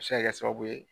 A bɛ se ka kɛ sababu ye